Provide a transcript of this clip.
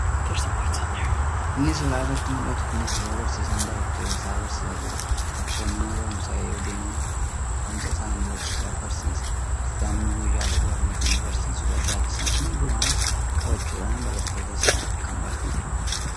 Inni suuraa irratti muldhatu kun yeroo barsiisaan barattoota isaa barsiisaa jiruudha. Barattoonni mana barumsaa yoo deeman barumsa isaanii barsiisatu barsiisa. Barsiisaan immo meeshaalee baruu fi barsiisuuf barbaachisan hunduma qabachuudhaan barattoota isaa kan barsiisu ta'a.